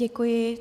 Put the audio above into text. Děkuji.